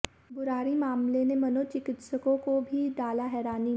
बुराड़ी मामले ने मनोचिकित्सकों को भी डाला हैरानी में